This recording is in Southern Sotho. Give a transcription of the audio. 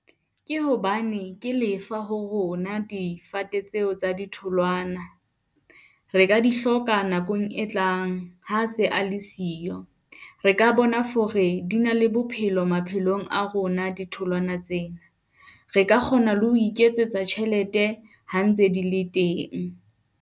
Ke hobane ke lefa ho rona difate tseo tsa ditholwana. Re ka di hloka nakong e tlang ha se a le siyo. Re ka bona hore di na le bophelo maphelong a rona ditholwana tsena. Re ka kgona le ho iketsetsa tjhelete ha ntse di le teng.